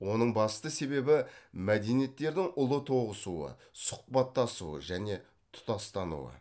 оның басты себебі мәдениеттердің ұлы тоғысуы сұхбаттасуы және тұтастануы